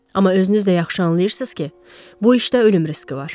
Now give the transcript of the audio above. Amma özünüz də yaxşı anlayırsınız ki, bu işdə ölüm riski var.